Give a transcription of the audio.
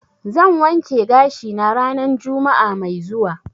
zan wanke gashi na ranan juma'a mai zuwa.